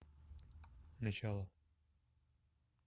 начало